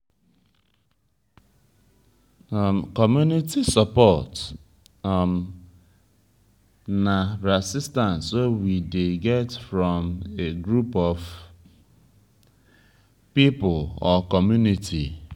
community support um na assistance wey we dey get from a group of pipo or community